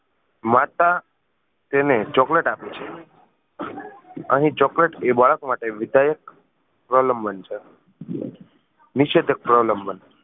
માતા તેને chocolate આપે છે અહી chocolate એ બાળક માટે વિધાયક પ્રલંબન છે નિષેદક પ્રલંબન